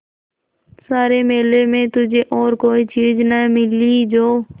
सारे मेले में तुझे और कोई चीज़ न मिली जो